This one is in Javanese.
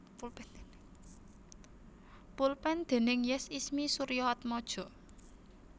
Pulpen déning Yes Ismie Suryaatmaja